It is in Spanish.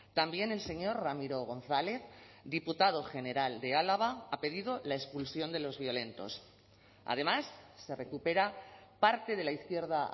también el señor ramiro gonzález diputado general de álava ha pedido la expulsión de los violentos además se recupera parte de la izquierda